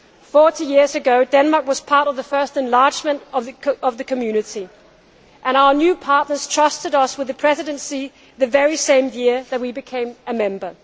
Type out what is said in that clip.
Forty years ago, Denmark was part of the first enlargement of the Community and our new partners trusted us with the Presidency the very same year that we became a member.